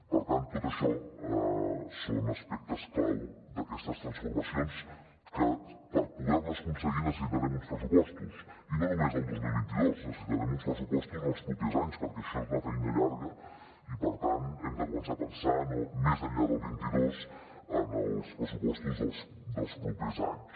per tant tot això són aspectes clau d’aquestes transformacions que per poder les aconseguir necessitarem uns pressupostos i no només el dos mil vint dos necessitarem uns pressupostos en els propers anys perquè això és una feina llarga i per tant hem de començar a pensar més enllà del vint dos en els pressupostos dels propers anys